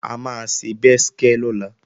A máa ṣe bẹ́skẹ́ lọ́la